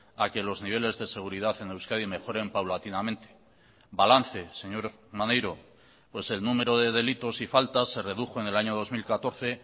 a que los niveles de seguridad en euskadi mejoren paulatinamente balance señor maneiro pues el número de delitos y faltas se redujo en el año dos mil catorce